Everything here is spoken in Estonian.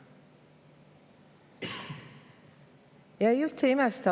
Ja ma üldse ei imesta.